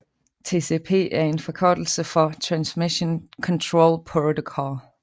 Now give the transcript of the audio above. TCP er en forkortelse for Transmission Control Protocol